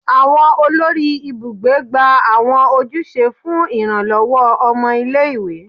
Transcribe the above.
Awọn olori ibugbe gba awọn ojuse fun iranlọwọ ọmọ ile-iwe